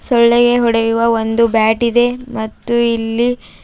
ಸೊಳ್ಳೆಗೆ ಹೊಡೆಯುವ ಒಂದು ಬ್ಯಾಟ್ ಇದೆ ಮತ್ತು ಇಲ್ಲಿ--